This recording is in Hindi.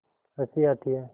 हँसी आती है